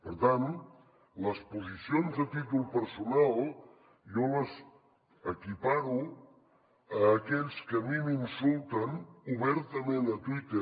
per tant les posicions a títol personal jo les equiparo a aquells que a mi m’insulten obertament a twitter